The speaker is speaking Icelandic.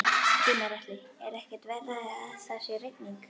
Gunnar Atli: Er ekkert verra að það sé rigning?